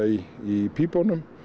í í pípunum